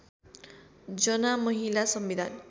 जना महिला संविधान